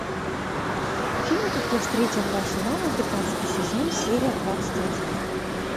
фильм как я встретил вашу маму пятнадцатый сезон серия двадцать один